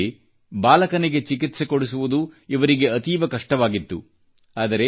ಇಂಥದ್ದರಲ್ಲಿ ಬಾಲಕನಿಗೆ ಚಿಕಿತ್ಸೆ ಕೊಡಿಸುವುದು ಇವರಿಗೆ ಅತೀವ ಕಷ್ಟವಾಗಿತ್ತು